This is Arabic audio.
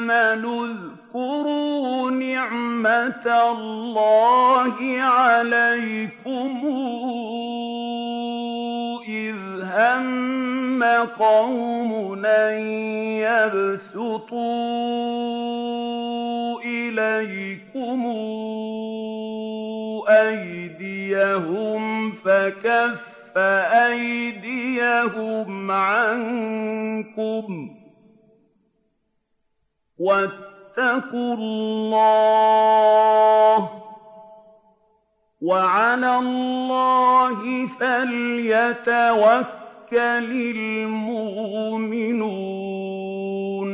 آمَنُوا اذْكُرُوا نِعْمَتَ اللَّهِ عَلَيْكُمْ إِذْ هَمَّ قَوْمٌ أَن يَبْسُطُوا إِلَيْكُمْ أَيْدِيَهُمْ فَكَفَّ أَيْدِيَهُمْ عَنكُمْ ۖ وَاتَّقُوا اللَّهَ ۚ وَعَلَى اللَّهِ فَلْيَتَوَكَّلِ الْمُؤْمِنُونَ